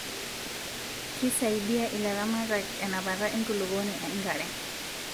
Kisaidia ilaramatak enapata enkulupuoni enkare